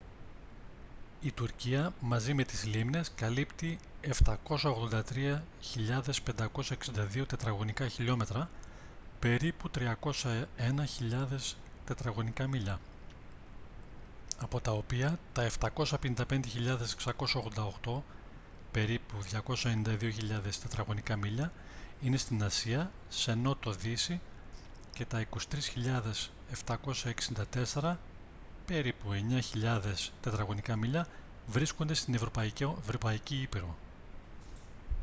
η τουρκία μαζί με τις λίμνες καλύπτει 783.562 km² περίπου 301 χιλιάδες mi² από τα οποία τα 755.688 περίπου 292 χιλιάδες mi² είναι στη ασία σε νότο-δύση και τα 23.764 περίπου 9 χιλιάδες mi² βρίσκονται στην ευρωπαϊκή ήπειρο